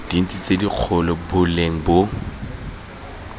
dintsi tse dikgolo boleng bo